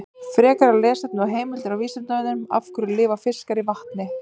Frekara lesefni og heimildir á Vísindavefnum: Af hverju lifa fiskar í vatni?